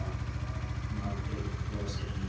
Arnaldur brosir líka.